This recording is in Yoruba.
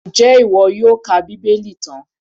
Ǹjẹ́ ìwọ yóò ka Bíbélì tan?